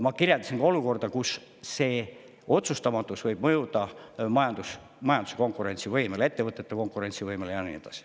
Ma kirjeldasin olukorda, kus see otsustamatus võib mõjuda majanduse konkurentsivõimele, ettevõtete konkurentsivõimele ja nii edasi.